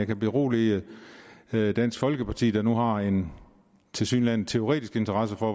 kan berolige dansk folkeparti der nu har en tilsyneladende teoretisk interesse for